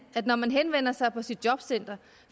at når man henvender sig på sit jobcenter